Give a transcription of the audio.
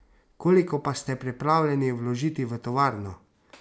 Koliko pa ste pripravljeni vložiti v tovarno?